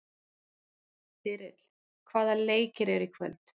Þyrill, hvaða leikir eru í kvöld?